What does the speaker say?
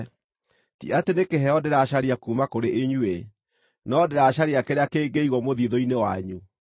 Ti atĩ nĩ kĩheo ndĩracaria kuuma kũrĩ inyuĩ, no ndĩracaria kĩrĩa kĩngĩigwo mũthiithũ-inĩ wanyu.